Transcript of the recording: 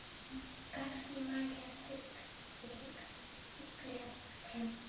как снимали астерикс и обеликс миссия клеопатра